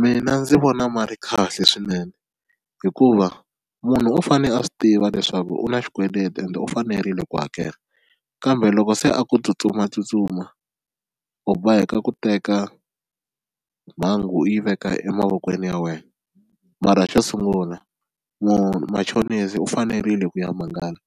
Mina ndzi vona ma ri kahle swinene hikuva munhu u fane a swi tiva leswaku u na xikweleti ende u fanerile ku hakela kambe loko se a ku tsutsumatsutsuma u boheka ku teka mhangu u yi veka emavokweni ya wena, mara xo sungula machonisi u fanerile ku ya mangala